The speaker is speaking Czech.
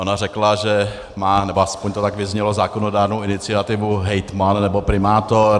Ona řekla, že má - nebo aspoň to tak vyznělo - zákonodárnou iniciativu hejtman nebo primátor.